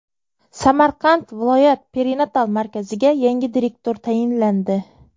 Samarqand viloyat perinatal markaziga yangi direktor tayinlandi.